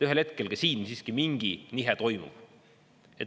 Ühel hetkel ka siin siiski mingi nihe toimub.